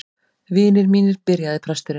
Vinir mínir, byrjaði presturinn.